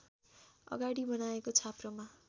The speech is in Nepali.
अगाडि बनाएको छाप्रोमा